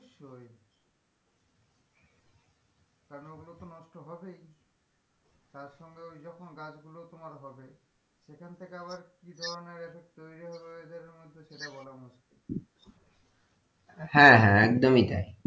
কারণ ওগুলো তো নষ্ট হবেই তারসঙ্গে ওই যখন গাছগুলো তোমার হবে সেখান থেকে আবার কি ধরণের effect তরি হবে weather এর মধ্যে সেটা বলা মুশকিল হ্যাঁ হ্যাঁ একদমই তাই,